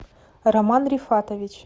роман рифатович